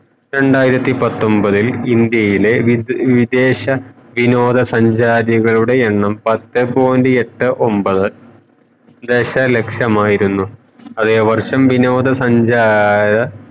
രണ്ടായിരത്തി പത്തൊൻപത്തിൽ ഇന്ത്യയിലെ വിദേ വിദേശ വിനോദ സഞ്ചാരങ്ങളുടെ എണ്ണം പത്തേ point എട്ടേ ഒമ്പത് ദശ ലക്ഷമയിരുന്നു അതെ വർഷം വിനോദ സഞ്ചാര